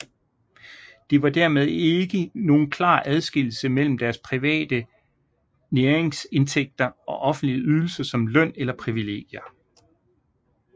Det var dermed ikke nogen klar adskillelse mellem deres private næringsindtægter og offentlige ydelser som løn eller privilegier